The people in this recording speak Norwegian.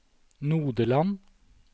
Nodeland